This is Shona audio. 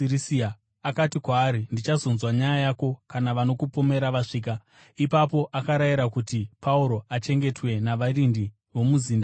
akati kwaari, “Ndichazonzwa nyaya yako kana vanokupomera vasvika.” Ipapo akarayira kuti Pauro achengetwe navarindi vomumuzinda waHerodhi.